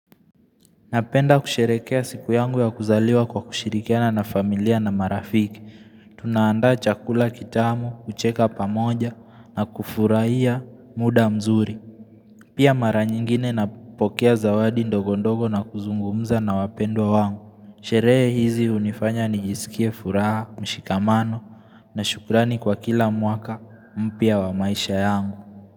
Napenda kusherehekea siku yangu ya kuzaliwa kwa kushirikiana na familia na marafiki. Tunaanda chakula kitamu, kucheka pamoja na kufurahia muda mzuri. Pia mara nyingine napokea zawadi ndogondogo na kuzungumza na wapendwa wangu. Sherehe hizi hunifanya nijisikie furaha, mshikamano na shukrani kwa kila mwaka mpya wa maisha yangu.